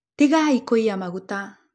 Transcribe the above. Tĩgaĩ kũĩya magũta.